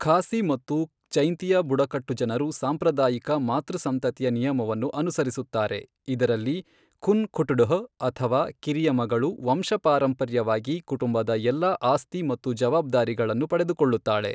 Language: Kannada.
ಖಾಸಿ ಮತ್ತು ಜೈಂತಿಯಾ ಬುಡಕಟ್ಟು ಜನರು ಸಾಂಪ್ರದಾಯಿಕ ಮಾತೃಸಂತತಿಯ ನಿಯಮವನ್ನು ಅನುಸರಿಸುತ್ತಾರೆ, ಇದರಲ್ಲಿ ಖುನ್ ಖಟ್ಡುಹ್ ಅಥವಾ ಕಿರಿಯ ಮಗಳು ವಂಶಪಾರಂಪರ್ಯವಾಗಿ ಕುಟುಂಬದ ಎಲ್ಲಾ ಆಸ್ತಿ ಮತ್ತು ಜವಾಬ್ದಾರಿಗಳನ್ನು ಪಡೆದುಕೊಳ್ಳುತ್ತಾಳೆ.